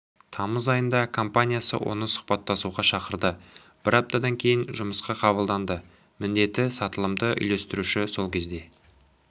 тамыз айында компаниясы оны сұхбаттасуға шақырды бір аптадан кейін жұмысқа қабылданды міндеті сатылымды үйлестіруші сол кезде